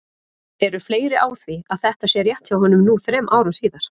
Eru fleiri á því að þetta sé rétt hjá honum nú þrem árum síðar?